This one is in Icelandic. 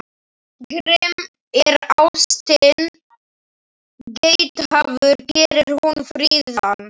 Grimm er ástin, geithafur gerir hún fríðan.